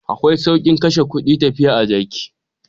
Akwai saukin kashe kudi tafiya a jaki.